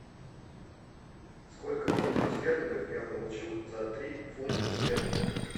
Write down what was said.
сколько фунтов стерлингов я получу за три фунтов стерлингов